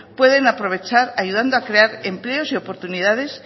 pueden aprovechar ayudando a crear empleos y oportunidades